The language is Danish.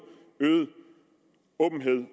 øget åbenhed